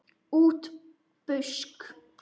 Útí busk.